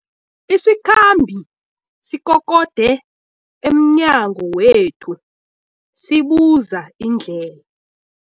Isikhambi sikokode emnyango wethu sibuza indlela.